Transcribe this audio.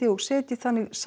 og setji þannig